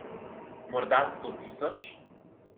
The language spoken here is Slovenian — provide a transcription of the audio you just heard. Morda sto tisoč?